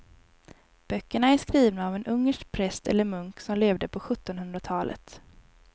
Böckerna är skrivna av en ungersk präst eller munk som levde på sjuttonhundratalet.